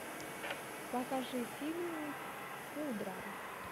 покажи фильмик пудра